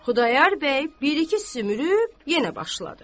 Xudayar bəy bir-iki sümürüb yenə başladı.